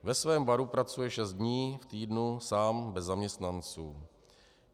Ve svém baru pracuje šest dní v týdnu, sám bez zaměstnanců.